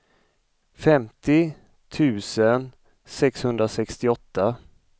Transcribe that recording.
femtio tusen sexhundrasextioåtta